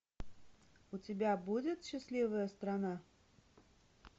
у тебя будет счастливая страна